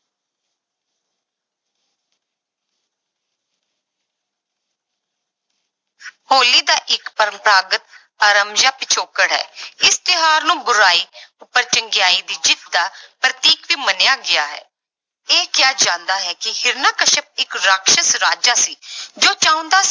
ਹੋਲੀ ਦਾ ਇੱਕ ਪਰੰਪਰਾਗਤ ਆਰਮਜਿਆ ਪਿਛੋਕੜ ਹੈ ਇਸ ਤਿਉਹਾਰ ਨੂੰ ਬੁਰਾਈ ਉੱਪਰ ਚੰਗਿਆਈ ਦੀ ਜਿੱਤ ਦਾ ਪ੍ਰਤੀਕ ਵੀ ਮੰਨਿਿਆ ਗਿਆ ਹੈ, ਇਹ ਕਿਹਾ ਜਾਂਦਾ ਹੈ ਕਿ ਹਰਿਕਸ਼ਪ ਇੱਕ ਰਾਖਸਸ ਰਾਜਾ ਸੀ ਜੋ ਚਾਹੁੰਦਾ